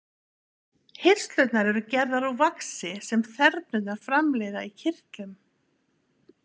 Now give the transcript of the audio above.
Hirslurnar eru gerðar úr vaxi sem þernurnar framleiða í kirtlum.